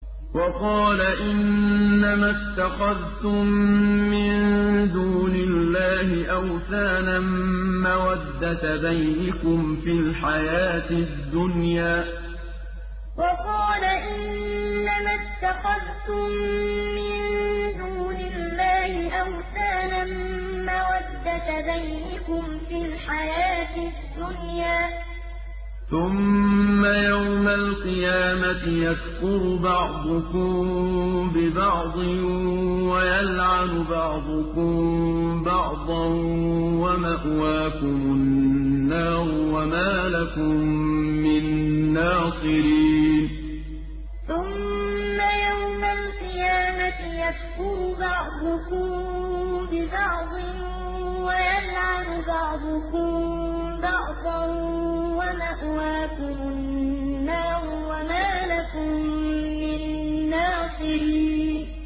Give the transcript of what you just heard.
وَقَالَ إِنَّمَا اتَّخَذْتُم مِّن دُونِ اللَّهِ أَوْثَانًا مَّوَدَّةَ بَيْنِكُمْ فِي الْحَيَاةِ الدُّنْيَا ۖ ثُمَّ يَوْمَ الْقِيَامَةِ يَكْفُرُ بَعْضُكُم بِبَعْضٍ وَيَلْعَنُ بَعْضُكُم بَعْضًا وَمَأْوَاكُمُ النَّارُ وَمَا لَكُم مِّن نَّاصِرِينَ وَقَالَ إِنَّمَا اتَّخَذْتُم مِّن دُونِ اللَّهِ أَوْثَانًا مَّوَدَّةَ بَيْنِكُمْ فِي الْحَيَاةِ الدُّنْيَا ۖ ثُمَّ يَوْمَ الْقِيَامَةِ يَكْفُرُ بَعْضُكُم بِبَعْضٍ وَيَلْعَنُ بَعْضُكُم بَعْضًا وَمَأْوَاكُمُ النَّارُ وَمَا لَكُم مِّن نَّاصِرِينَ